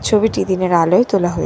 ছবিটি দিনের আলোয় তোলা হয়ে--